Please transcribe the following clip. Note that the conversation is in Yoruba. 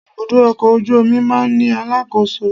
Ibùdó ọkọ̀ ojú omi máa ń ní alákòóso